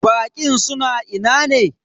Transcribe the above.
Baƙin suna ina ne?